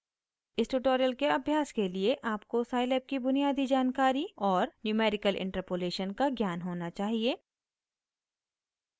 इस ट्यूटोरियल के अभ्यास के लिए आपको scilab की बुनियादी जानकारी और numerical interpolation का ज्ञान होना चाहिए